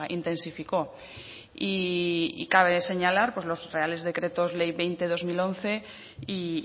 intensificó y cabe señalar los reales decretos ley veinte barra dos mil once y